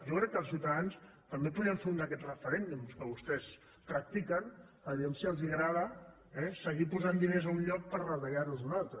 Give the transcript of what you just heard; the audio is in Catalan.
jo crec que els ciutadans també podrien fer un d’aquests referèndums que vostès practiquen vejam si els agrada eh seguir posant diners en un lloc per retallar los d’un altre